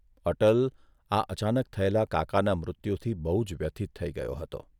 અટલ આ અચાનક થયેલા કાકાના મૃત્યુથી બહુ જ વ્યથીત થઇ ગયો હતો.